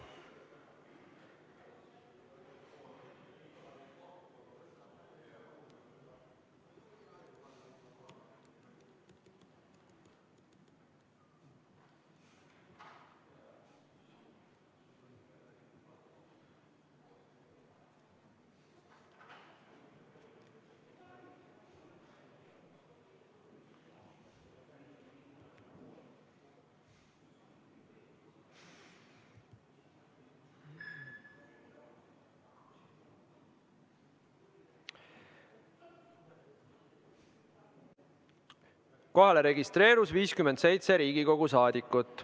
Kohalolijaks registreerus 57 Riigikogu liiget.